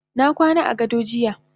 Nakwana agado jiya.